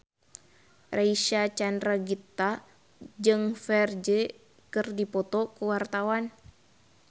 Reysa Chandragitta jeung Ferdge keur dipoto ku wartawan